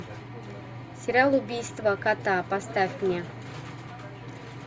сериал убийство кота поставь мне